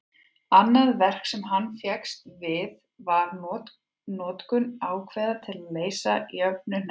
annað verk sem hann fékkst við var notkun ákveða til að leysa jöfnuhneppi